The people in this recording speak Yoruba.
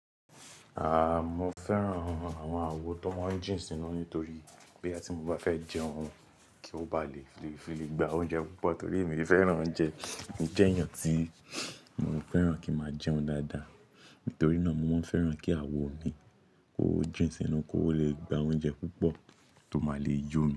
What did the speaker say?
Aah, mo fẹ́ran àwọn àwo tó máa ń jìn sínú nítorí bóyá ti mo bá fẹ́ jẹhun, kí ó bá lè fi lè gba oúnjẹ púpọ̀ torí èmi fẹ́ran oúnjẹ. Mo jẹ́ èèyàn tí mo fẹ́ran kí máa jẹun dáadáa. Nítorí náà mo máa ń fẹ́ran kí àwo mi kó jìn sínú, kó lè gba oúnjẹ púpọ̀ tó máa lè yó mi.